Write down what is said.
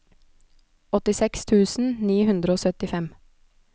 åttiseks tusen ni hundre og syttifem